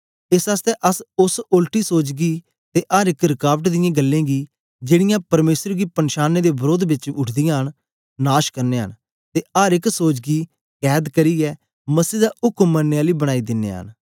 एस आसतै अस ओस ओलटी सोच गी ते अर एक रकाबट दियें गल्लें गी जेड़ीयां परमेसर गी पनछानें दे वरोध बेच उठदीयां न नाश करनयां न ते अर एक सोच गी कैद करियै मसीह दा उक्म मनने आली बनाई दिनयां न